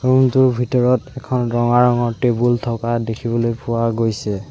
Room টোৰ ভিতৰত এখন ৰঙা ৰঙৰ টেবুল থকা দেখিবলৈ পোৱা গৈছে।